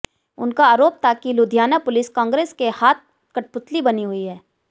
उनका आरोप था कि लुधियाना पुलिस कांग्रेस के हाथ कठपुतली बनी हुई है